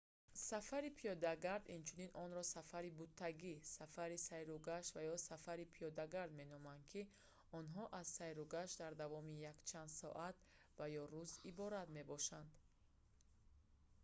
сафари пиёдагард инчунин онро сафари буттагӣ сафари сайругашт ва ё сафари пиёдагард меноманд ки онҳо аз сайругашт дар давоми якчанд соат ва ё рӯз иборат мебошад